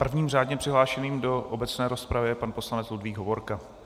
Prvním řádně přihlášeným do obecné rozpravy je pan poslanec Ludvík Hovorka.